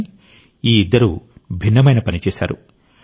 కానీ ఈ ఇద్దరూ భిన్నమైన పని చేశారు